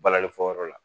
Balani fɔyɔrɔ la